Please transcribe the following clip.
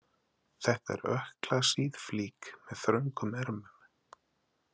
Þetta er ökklasíð flík með þröngum ermum.